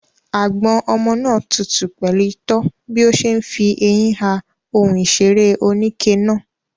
Àgbọ̀n ọmọ náà tutù pẹ̀lú itọ́ bí ó ṣe ń fi eyín ha ohun ìṣeré oníke náà.